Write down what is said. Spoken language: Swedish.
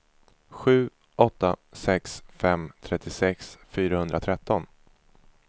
sju åtta sex fem trettiosex fyrahundratretton